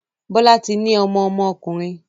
Bola tí ní ọmọ ọmọ ọkunrin